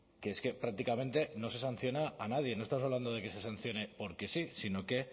que es que prácticamente no se sanciona a nadie no estamos hablando de que se sancione porque sí sino que